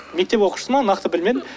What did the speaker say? мектеп оқушысы ма нақты білмедім